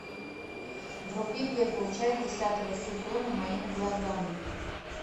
вруби первую часть десятого сезона моими глазами